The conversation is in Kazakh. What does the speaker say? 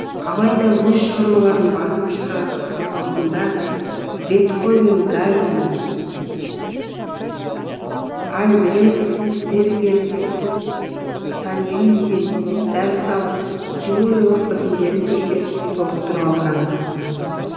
алайда өз шығармаларын басып шығарар алдында бетховен гайдн альбрехтсбергер сальериден дәріс алып теориялық білімдерін тексеріп толықтырып алған